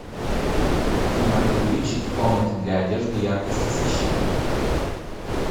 афина увеличить в комнате для одежды яркость освещения